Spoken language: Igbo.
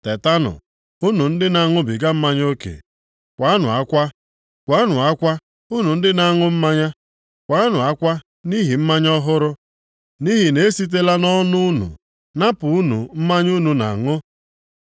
Tetanụ, unu ndị na-aṅụbiga mmanya oke. Kwaanụ akwa. Kwaanụ akwa unu ndị na-aṅụ mmanya; kwaanụ akwa nʼihi mmanya ọhụrụ, nʼihi na e sitela nʼọnụ unu napụ unu mmanya unu na-aṅụ.